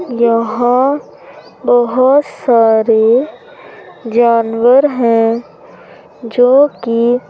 यहां बहोत सारे जानवर हैं जोकि--